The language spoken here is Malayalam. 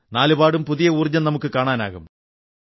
നാലുപാടും ഒരു പുതിയ ഊർജ്ജം നമുക്കു കാണാനാകും